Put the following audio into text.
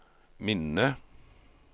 minne